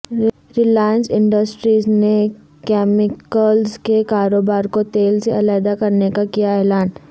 Reliance Industries نے chemicals کے کاروبار کو تیل سے علیحدہ کرنے کا کیا اعلان